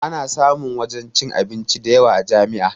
Ana samun wajen cin abinci dayawa a jami'a